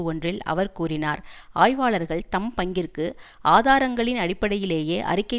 ஒன்றில் அவர் கூறினார் ஆய்வாளர்கள் தம் பங்கிற்கு ஆதாரங்களின் அடிப்படையிலேயே அறிக்கை